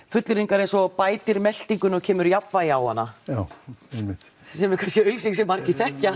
fullyrðingar eins og bætir meltinguna og kemur jafnvægi á hana sem er kannski auglýsing sem margir þekkja